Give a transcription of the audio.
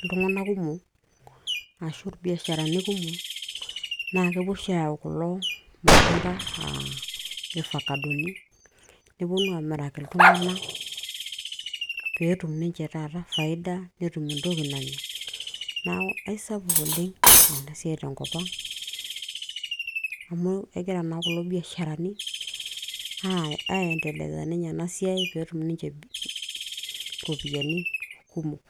iltung'anak kumok ashu irbiasharani naa kepuo oshi ayau kulo matunda aa irfakadoni neponu aamiraki iltung'anak peetum ninche taata faida netum entoki nanya neeku isapuk oleng ena siai tenkop ang amu egira naa kulo biasharani aendeleza ninye ena siai peetum ninche iropiyiani kumok.